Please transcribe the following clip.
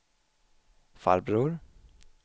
farbror